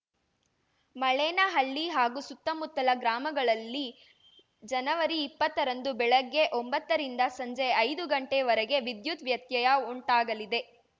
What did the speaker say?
ಮಳೇನಹಳ್ಳಿ ಹಾಗೂ ಸುತ್ತಮುತ್ತಲ ಗ್ರಾಮಗಳಲ್ಲಿ ಜನವರಿಇಪ್ಪತ್ತರಂದು ಬೆಳಗ್ಗೆ ಒಂಬತ್ತರಿಂದ ಸಂಜೆ ಐದುಗಂಟೆ ವರೆಗೆ ವಿದ್ಯುತ್‌ ವ್ಯತ್ಯಯ ಉಂಟಾಗಲಿದೆ